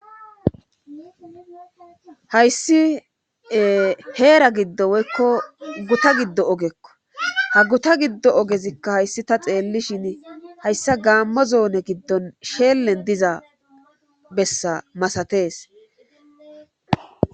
hayssi heera giddo woykko guta giddo ogekko ha guta giddo ogezikka hayssi ta xeellishin hayssa gaammo zoone giddon sheellen diza bessa masatees